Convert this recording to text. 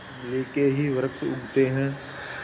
इमली के ही वृक्ष उगते हैं